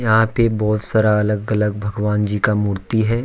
यहां पे बहुत सारा अलग अलग भगवान जी का मूर्ति है।